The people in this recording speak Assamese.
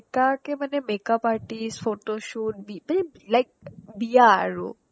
এনেকুৱাকে মানে makeup artist photoshoot বি মানে like বিয়া আৰু